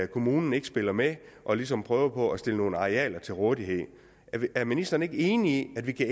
kommunen ikke spiller med og ligesom prøver på at stille nogle arealer til rådighed er ministeren ikke enig i at det kan